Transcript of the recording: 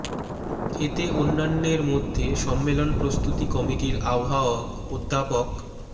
এতে অন্যান্যের মধ্যে সম্মেলন প্রস্তুতি কমিটির আহ্বায়ক অধ্যাপক ড